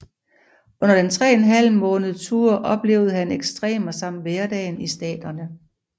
Under den tre en halv måned tur oplevede han ekstremer samt hverdagen i staterne